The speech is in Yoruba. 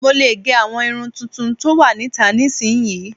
Mo lè gẹ àwọn irun tuntun tó wà níta nísinyi